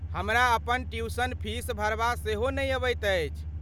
हमरा अपन tuition fees भरबा सेहो नहि अबैत अछि।